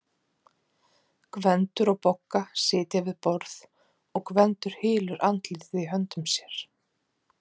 Gvendur og Bogga sitja við borð og Gvendur hylur andlitið í höndum sér.